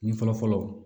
Ɲɛ fɔlɔ fɔlɔ